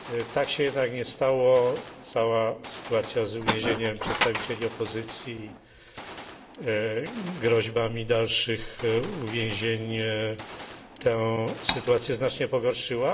Tak się jednak nie stało. Cała sytuacja z uwięzieniem przedstawicieli opozycji i groźbami dalszych uwięzień tę sytuację znacznie pogorszyła.